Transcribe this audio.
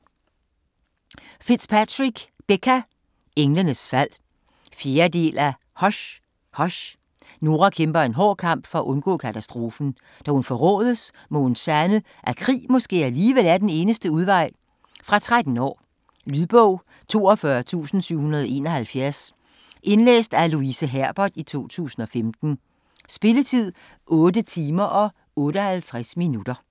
Fitzpatrick, Becca: Englenes fald 4. del af Hush, Hush. Nora kæmper en hård kamp for at undgå katastrofen. Da hun forrådes, må hun sande, at krig måske alligevel er eneste udvej. Fra 13 år. Lydbog 42771 Indlæst af Louise Herbert, 2015. Spilletid: 8 timer, 58 minutter.